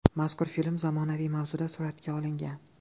Mazkur film zamonaviy mavzuda suratga olingan.